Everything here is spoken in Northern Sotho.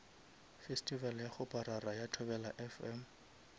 festival ya kgoparara ya thobelafm